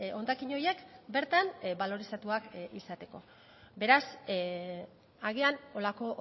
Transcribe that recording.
hondakin horiek bertan balorizatuak izateko beraz agian holako